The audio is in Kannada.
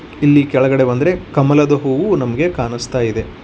ಇಲ್ಲಿ ಕೆಳಗಡೆ ಬಂದರೆ ಕಮಲ್ದವು ನಮಗೆ ಕಾಣಿಸುತ್ತದೆ.